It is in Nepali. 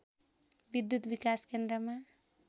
विद्युत् विकास केन्द्रमा